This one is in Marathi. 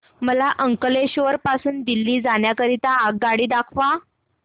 मला अंकलेश्वर पासून दिल्ली जाण्या करीता आगगाडी दाखवा